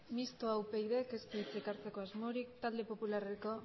mistoa upydk ez du hitzik hartzeko asmorik talde popularreko